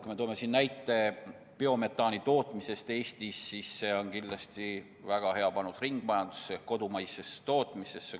Kui tuua siin näide biometaani tootmisest Eestis, siis see on kindlasti väga hea panus ringmajandusse, kodumaisesse tootmisesse.